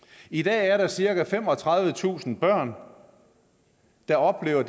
i dag er der cirka femogtredivetusind børn der oplever